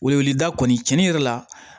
Weleweleda kɔni cɛni yɛrɛ la